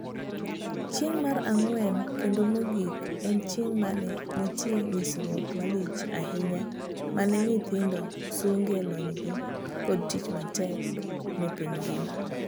Chieng' mar ang'wen kendo mogik en chieng mane nitie nyisruok malich ahinya mane nyithindo sungee lonygi kod tich matek nepiny ngima.